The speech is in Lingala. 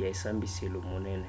ya esambiselo monene